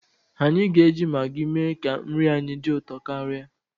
Anyi ga-eji Magi mee ka nri anyị dị ụtọ karịa.